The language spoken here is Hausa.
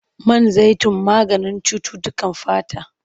Man zaitun maganin cututtukan fata.